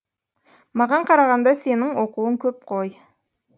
маған қарағанда сенің оқуың көп қой